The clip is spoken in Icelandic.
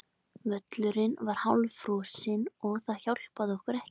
Völlurinn var hálffrosinn og það hjálpaði okkur ekki.